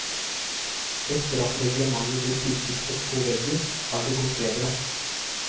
Etter at reglementet ble stiftet opp på veggen, har det gått bedre.